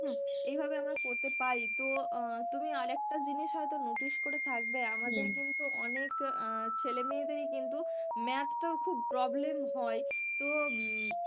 এই ভাবে আমরা করতে পারি তো তুমি আর একটা জিনিস হয়তো notice করে থাকবে আমাদের কিন্তু অনেক ছেলেমেয়েদেরই কিন্তু ম্যাথটাও খুব problem হয় তো,